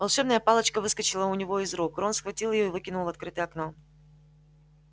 волшебная палочка выскочила у него из рук рон схватил её и выкинул в открытое окно